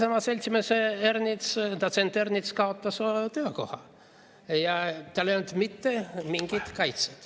See, et seltsimees Ernits, dotsent Ernits kaotas töökoha ja tal ei olnud mitte mingit kaitset.